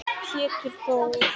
Pétur Þór.